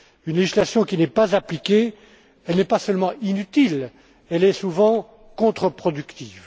Une législation qui n'est pas appliquée n'est pas seulement inutile, elle est souvent contreproductive.